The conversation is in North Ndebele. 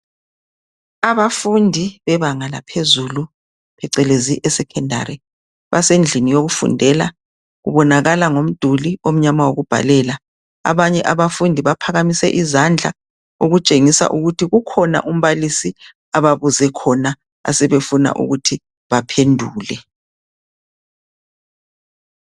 abantu bebanga laphezulu abacezeza e secondary basendlini yokufudela kubonakala ngomduli omnyama wokubhalela abanye abafundi baphakamise izandla okutshengisela ukuthi kukhona umbalisi abafunde khona asefuna baphendule